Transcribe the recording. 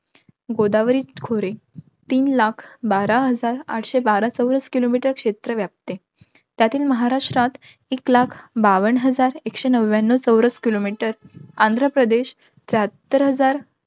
गोदावरी खोरे. तीन लाख, बारा हजार आठशे बारा चौरस kilometer क्षेत्र व्यापते. त्यातील महाराष्ट्रात, एक लाख बावन्न हजार, एकशे नव्याणव चौरस kilometer आंध्रप्रदेश, त्र्याहत्तर हजार,